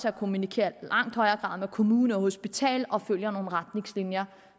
at kommunikere med kommunen og hospitalet og følger nogle retningslinjer